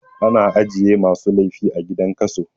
A na ajiye masu laifi a gidan kaso